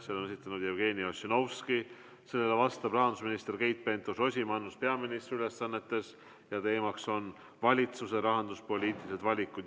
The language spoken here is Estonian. Selle on esitanud Jevgeni Ossinovski, sellele vastab rahandusminister Keit Pentus-Rosimannus peaministri ülesannetes ja teema on valitsuse rahanduspoliitilised valikud.